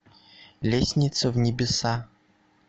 лестница в небеса